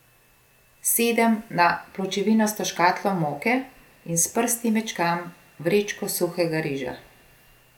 Sedem na pločevinasto škatlo moke in s prsti mečkam vrečko suhega riža.